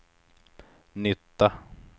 nytta